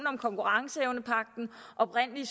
om konkurrenceevnepagten oprindelig